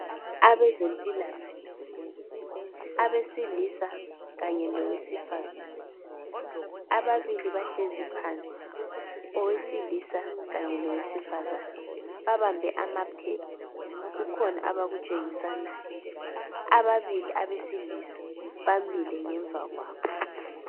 Abezempilakahle abesilisa kanye lowesifazane ,ababili bahlezi phansi owesilisa kanye lowesifazane babambe amaphepha kukhona abakutshengisanayo ababili abesilisa bamile ngemva kwabo.